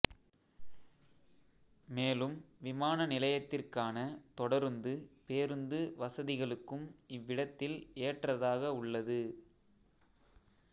மேலும் விமான நிலையத்திற்கான தொடருந்து பேருந்து வசதிகளுக்கும் இவ்விடத்தில் ஏற்றதாக உள்ளது